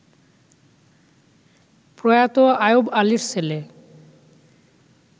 প্রয়াত আয়ুবআলীর ছেলে